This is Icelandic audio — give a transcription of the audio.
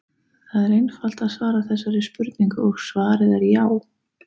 Það er einfalt að svara þessari spurningu og svarið er já!